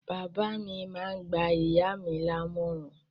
Bàbá mi máá ń gba ìyá mi lámọ̀ràn